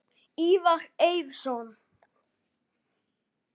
Ívar Eiðsson